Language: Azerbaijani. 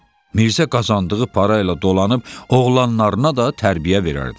Mirzə qazandığı parayla dolanıb, oğlanlarına da tərbiyə verərdi.